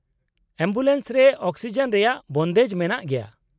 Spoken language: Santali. -ᱮᱢᱵᱩᱞᱮᱱᱥ ᱨᱮ ᱚᱠᱥᱤᱡᱮᱱ ᱨᱮᱭᱟᱜ ᱵᱚᱱᱫᱮᱡ ᱢᱮᱱᱟᱜ ᱜᱮᱭᱟ ᱾